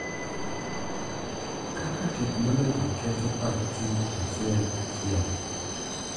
Kaka teknoloji ketho pach ji achiel achiel